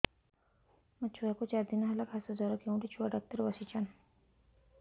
ମୋ ଛୁଆ କୁ ଚାରି ଦିନ ହେଲା ଖାସ ଜର କେଉଁଠି ଛୁଆ ଡାକ୍ତର ଵସ୍ଛନ୍